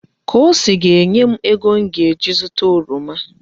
Kosi aga-enye m ego m ga-eji zụta oroma?